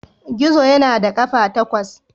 Gizo yana da ƙafa takwas.